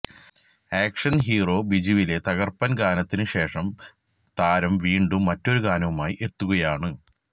action hero ബിജുവിലെ തകര്പ്പന് ഗാനത്തിന് ശേഷം താരം വീണ്ടും മറ്റൊരു ഗാനവുമായി എത്തുകയാണ്